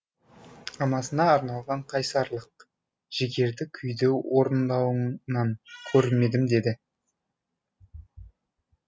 анасына арналған қайсарлық жігерді күйді орындауыңнан көрмедім деді